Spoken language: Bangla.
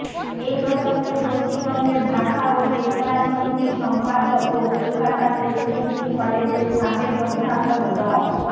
এ প্রসঙ্গে পশ্চিমবঙ্গের ভাষা ও চেতনা সমিতির সম্পাদক ও কোলকাতা প্রেসিডেন্সি কলেজের সাবেক অধ্যাপক ড